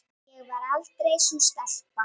Sigga þagnar stutta stund.